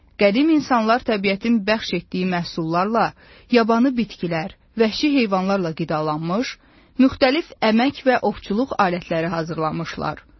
Qədim insanlar təbiətin bəxş etdiyi məhsullarla, yabanı bitkilər, vəhşi heyvanlarla qidalanmış, müxtəlif əmək və ovçuluq alətləri hazırlamışlar.